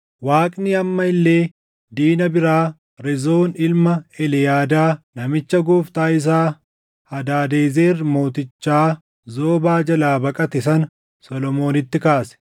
Waaqni amma illee diina biraa Rezoon ilma Eliyaadaa namicha gooftaa isaa Hadaadezer mootichaa Zoobaa jalaa baqate sana Solomoonitti kaase.